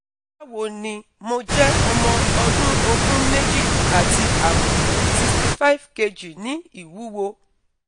Báwo ni? mo jẹ́ ọmọ ọdún ogún méjì àti àbọ̀, sixty five kg ní ìwúwo